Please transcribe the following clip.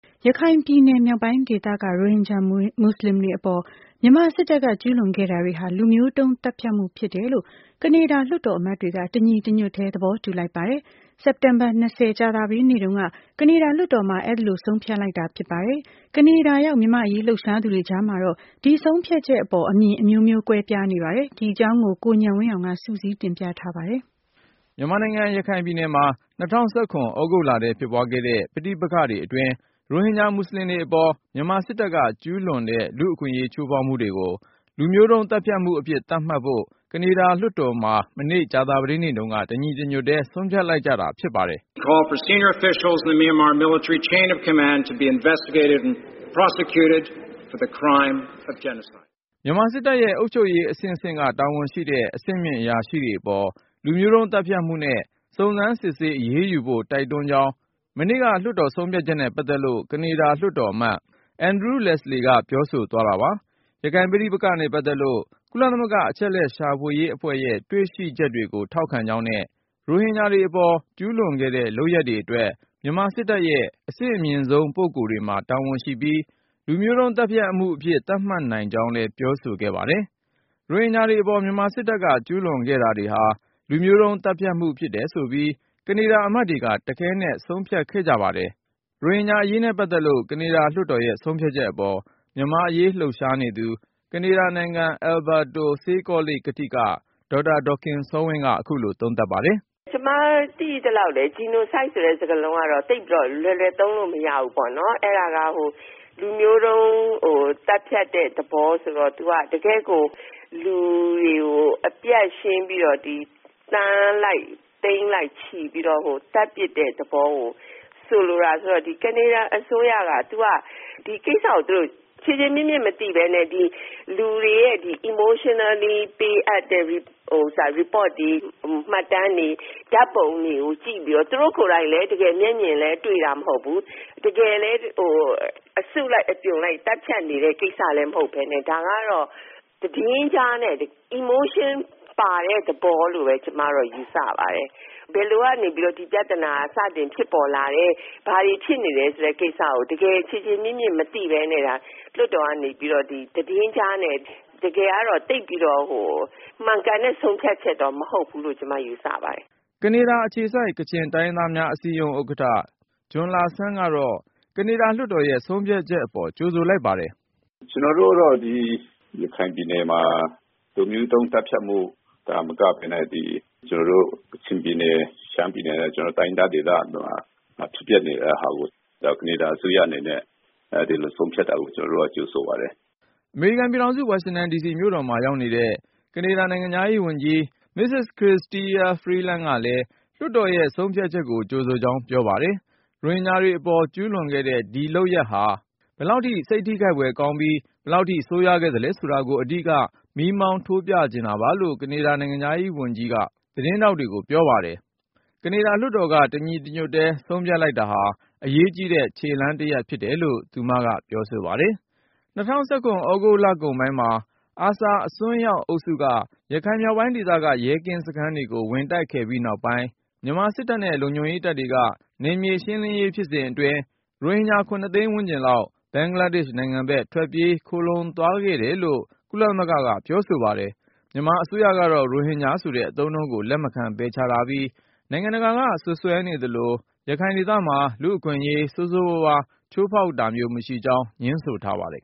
ရခိုင်ပြည်နယ် မြောက်ပိုင်းဒေသက ရိုဟင်ဂျာမူဆလင်တွေအပေါ် မြန်မာစစ်တပ်က ကျူးလွန်ခဲ့တာတွေဟာ လူမျိုးတုန်းသတ်ဖြတ်မှု ဖြစ်တယ်လို့ ကနေဒါ လွှတ်တော်အမတ်တွေက တညီတညွတ်ထဲ သဘောတူလိုက်ကြပါတယ်။ စက်တင်ဘာ ကြာသပတေးနေ့တုန်းက ကနေဒါလွှတ်တော်မှာ အဲဒီလို ဆုံးဖြတ်လိုက်ကြတာ ဖြစ်ပါတယ်။ ကနေဒါရောက် မြန်မာ့အရေးလှုပ်ရှားသူတွေ ကြားမှာတော့ ဒီဆုံးဖြတ်ချက်ပေါ် အမြင်အမျိုးမျိုး ကွဲပြားနေပါတယ်။ ဒီအကြောင်း ကိုဉာဏ်ဝင်းအောင်က စုစည်းတင်ပြထားပါတယ်။ မြန်မာနိုင်ငံ ရခိုင်ပြည်နယ်မှာ ၂၀၁၇ သြဂုတ်လထဲ ဖြစ်ပွားခဲ့တဲ့ ပဋိပက္ခတွေအတွင်း ရိုဟင်ဂျာ မူဆလင်တွေအပေါ် မြန်မာစစ်တပ်က ကျုးလွန်တဲ့ လူ့အခွင့်အရေး ချိုးဖောက်မှုတွေကို လူမျိုးတုန်းသတ်ဖြတ်မှုအဖြစ် သတ်မှတ်ဖို့ ကနေဒါလွှတ်တော်မှာ မနေ့ ကြာသပတေးနေ့တုန်းက တညီတညွတ်ထဲ ဆုံးဖြတ်လိုက်ကြတာ ဖြစ်ပါတယ်။ “မြန်မာစစ်တပ်ရဲ့ အုပ်ချုပ်ရေးအဆင့်ဆင့်က တာဝန်ရှိတဲ့ အဆင့်မြင့်အရာရှိတွေအပေါ် လူမျိုးတုန်းသတ်ဖြတ်မှုနဲ့ စုံစမ်းစစ်ဆေး အရေးယူဖို့ တိုက်တွန်းကြောင်း ၊ မနေ့က လွှတ်တော်ဆုံးဖြတ်ချက်နဲ့ ပတ်သက်လို့” ကနေဒါလွှတ်တော်အမတ် Andrew Leslie က ပြောဆိုသွားတာပါ။ ရခိုင်ပဋိပက္ခနဲ့ ပတ်သက်လို့ ကုလသမဂ္ဂ အချက်အလက် ရှာဖွေရေးအဖွဲ့ (fact finding mission)ရဲ့ တွေ့ရှိချက်တွေကို ထောက်ခံကြောင်းနဲ့ ရိုဟင်ဂျာတွေ အပေါ် ကျုးလွန်ခဲ့တဲ့ လုပ်ရပ်တွေအတွက် မြန်မာစစ်တပ်ရဲ့ အဆင့်မြင့်ဆုံးပုဂ္ဂိုလ်တွေမှာ တာဝန်ရှိပြီး၊ လူမျိုးတုန်း သတ်ဖြတ်မှုအဖြစ် သတ်မှတ်နိုင်ကြောင်း လည်း ပြောဆိုခဲ့ပါတယ်။ ရိုဟင်ဂျာတွေအပေါ် မြန်မာစစ်တပ်က ကျူးလွန်ခဲ့တာတွေဟာ လူမျိုးတုန်းသတ်ဖြတ်မှုဖြစ်တယ်ဆိုပြီး ကနေဒါ အမတ်တွေက တခဲနက် ဆုံးဖြတ်ခဲ့ကြ ပါတယ်။ ရိုဟင်ဂျာအရေးနဲ့ ပတ်သက်လို့ ကနေဒါလွှတ်တော်ရဲ့ ဆုံးဖြတ်ချက်အပေါ် မြန်မာ့အရေးလှုပ်ရှားနေသူ ကနေဒါနိုင်ငံ Alberta ဆေးကောလိပ် ကထိက ဒေါက်တာ ဒေါ်ခင်စောဝင်းက အခုလို သုံးသပ်ပါတယ်။ “ ကျမသိသလောက် Genocide ဆိုတဲ့ စကားလုံးကတော့ သိပ်ပြီး လွယ်လွယ်သုံးလို့ မရဘူးပေါ့နော်။ အဲဒါက လူမျိုးတုန်း သတ်ဖြတ်တဲ့ သဘောဆိုတော့ သူက တကယ့်ကို လူတွေကို အပြတ်ရှင်းပြီးတော့.. သန်းလိုက် သိန်းလိုက်ချီပြီးတော့ သတ်ပစ်တဲ့ သဘောကို ဆိုလိုတာဆိုတော့ ဒီကနေဒါအစိုးရက ဒီကိစ္စကို သူတို့က ခြေခြေမြစ်မြစ် မသိပဲနဲ့၊ လူတွေရဲ့ emotionally ပေးအပ်တဲ့ report တွေ၊ မှတ်တမ်းတွေ၊ ဓါတ်ပုံတွေကို ကြည့်ပြီးတော့ သူတို့ကိုယ်တိုင်လည်း တကယ်တမ်း မျက်မြင်တွေ့တာ မဟုတ်ဘူး။ တကယ်လည်း အစုလိုက် အပြုံလိုက် သတ်ဖြတ်နေတဲ့ ကိစ္စလည်း မဟုတ်ပဲနဲ့.. ဒါကတော့ သတင်းကြားနဲ့ emotion ပါတဲ့ သဘောလို့ပဲ ကျမတော့ ယူဆပါတယ်။ ဘယ်လိုကနေပြီးတော့ ဒီပြဿနာဖြစ်ပေါ်လာတယ်၊ ဘာတွေ ဖြစ်နေတယ်ဆိုတဲ့ကိစ္စကို တကယ် ခြေခြေမြစ်မြစ် မသိပဲနဲ့ လွှတ်တော်ကနေပြီး သတင်းကြားနဲ့ ဆုံးဖြတ်တာက တကယ်တော့ မှန်ကန်တဲ့ ဆုံးဖြတ်ချက် မဟုတ်ဘူးလို့ ကျမယူဆပါတယ်။” Canadian Kachin Association ကနေဒါအခြေစိုက် ကချင်တိုင်းရင်းသားများအစည်းအရုံး ဥက္ကဌ ဂျွန်လာဆန့်ကတော့ ကနေဒါ အောက်လွှတ်တော်ရဲ့ ဆုံးဖြတ်ချက်အပေါ် ကြိုဆိုလိုက်ပါတယ်။ “ ကျနော်တို့ကတော့ ရခိုင်ပြည်နယ်မှာ လူမျိုးတုန်းသတ်ဖြတ်မှုသာ မကပဲနဲ့ ကျနော်တို့ ကချင်ပြည်၊ ရှမ်းပြည်နယ်နဲ့ တိုင်းရင်းသားဒေသတွေမှာ ဖြစ်ပျက်နေတဲ့ဟာကို ကနေဒါ အစိုးရအနေနဲ့ ဒီလိုဆုံးဖြတ်တာကို ကျနော်တို့က ကြိုဆိုပါတယ်။” အမေရိကန်ပြည်ထောင်စု ဝါရှင်တန်ဒီစီမြို့တော်မှာ ရောက်နေတဲ့ ကနေဒါ နိုင်ငံခြားရေးဝန်ကြီး Mrs. Chrystia Freeland ကလည်း လွှတ်တော်ရဲ့ဆုံးဖြတ် ချက်ကို ကြိုဆိုကြောင်း ပြောပါတယ်။ “ရိုဟင်ဂျာတွေပေါ် ကျူးလွန်ခဲ့တဲ့ ဒီဖြစ်ရပ်ဟာ ဘယ်လောက် စိတ်ထိခိုက်ဖွယ်ကောင်းပြီး၊ ဘယ်လောက်ထိ ဆိုးရွား ခဲ့သလဲဆိုတာကို အဓိက မီးမောင်း ထိုးပြချင်တာပါ”လို့ ကနေဒါ နိုင်ငံခြားရေးဝန်ကြီး Mrs. Chrystia Freeland က သတင်းထောက်တွေကို ပြောပါတယ်။ ကနေဒါလွှတ်တော်က တညီတညွတ်ထဲ ဆုံးဖြတ်လိုက်တာဟာ အရေးကြီးတဲ့ခြေလှမ်းတရပ် ဖြစ်တယ်လို့ သူမကဆိုပါတယ်။ ၂၀၁၇ သြဂုတ်လကုန်ပိုင်းမှာ ARSA အစွန်းရောက်အုပ်စုက ရခိုင်မြောက်ပိုင်းဒေသက ရဲကင်းစခန်းတွေကို ဝင်တိုက်ခိုက်ခဲ့ပြီးနောက်ပိုင်း မြန်မာစစ်တပ်နဲ့ လုံခြုံရေးတပ်တွေက နယ်မြေရှင်းလင်းရေး ဖြစ်စဉ်အတွင်း ရိုဟင်ဂျာ သိန်းဝန်းကျင်လောက် ဘင်္ဂလားဒေ့ရှ်နိုင်ငံဘက် ထွက်ပြေး ခိုလှုံသွားတယ်လို့ ကုလသမဂ္ဂက ပြောဆိုပါတယ်။ မြန်မာအစိုးရကတော့ ရိုဟင်ဂျာဆိုတဲ့အသုံးနှုန်းကို လက်မခံ ပယ်ချထားပြီး၊ နိုင်ငံတကာက စွပ်စွဲနေသလို ရခိုင်ဒေသမှာ လူ့အခွင့်အရေး ဆိုးဆိုးဝါးဝါး ချိုးဖေါက်တာမျိုး မရှိကြောင်းငြင်းဆိုထားပါတယ်